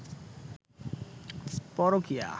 পরকীয়া